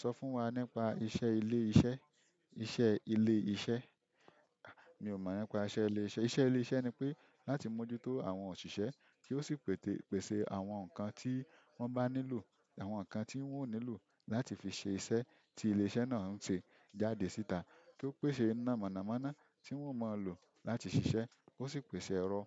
Sọ fún wa nípa iṣẹ́ ilé-iṣẹ́. Iṣẹ́ ile iṣẹ́ ah mi o mo nípa iṣẹ́ ilé iṣẹ́, iṣẹ́ ilé iṣẹ́ nipe láti moju to àwọn òṣìṣẹ́ ti o si pèsè àwọn nkan ti wọn ba nílò àwọn nkán ti wo nílò láti fi se iṣẹ́ ti ilé iṣẹ́ náà se. Jáde síta tí ó pèsè iná mọ̀nàmọ́ná tí wọ́n ó máa lò láti ṣiṣẹ́, ó sì pèsè ẹ̀rọ